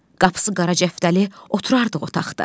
Qapısı qara cəftəli oturardıq otaqda.